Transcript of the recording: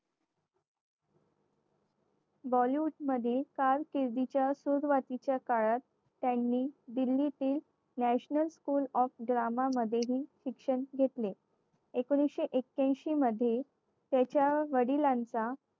bollywood मधील कालकेद्रीच्या सुरुवातीच्या काळात त्यांनी दिल्लीतील national school of drama मधेही शिक्षण घेतले. एकोणविशे ऐक्यांशी मध्ये त्याच्या वडिलांचा